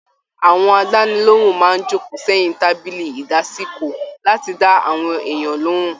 Àwọn àdánilohùn máa n joko sẹyìn tábìlì ìdásìkò láti dá àwọn èèyàn lohùn.